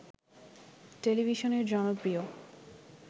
টেলিভিশনের জনপ্রিয়